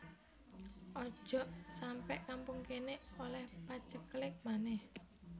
Ojok sampe kampung kene oleh paceklik maneh